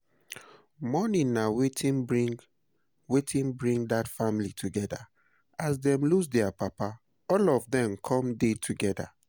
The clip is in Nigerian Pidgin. Mourning na wetin bring wetin bring dat family together, as dem lose their papa all of dem come dey togeda